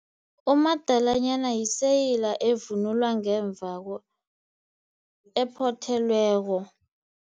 Umadalanyana yiseyiyala evunulwa ngemva ephothelweko.